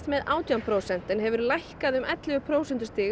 með átján prósent og hefur lækkað um ellefu prósentustig